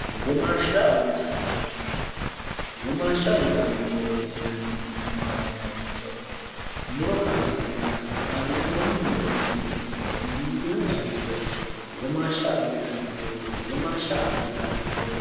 womaashsha abbitannommorooti inanniti maatinea ikkiro muro kaasi'neenna kaasi'noonni moro iilliteenna iillitinota hirre womaashsha abbinanni doogo womaashsha abbitannommorooro